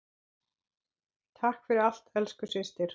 Takk fyrir allt, elsku systir.